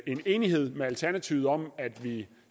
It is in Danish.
en enighed med alternativet om at vi